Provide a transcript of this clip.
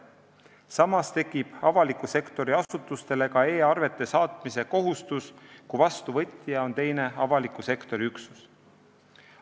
Samas tekib avaliku sektori asutustel ka e-arvete saatmise kohustus, kui vastuvõtja on teine avaliku sektori üksus.